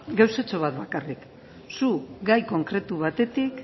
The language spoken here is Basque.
gauzatxo bat bakarrik zu gai konkretu batetik